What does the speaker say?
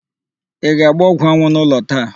Ị ga-agba ọgwụanwụ n'ụlọ taa?